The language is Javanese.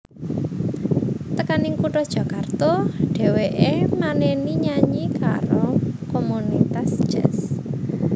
Tekaning kutha Jakarta dheweké maneni nyanyi karo komunitas jazz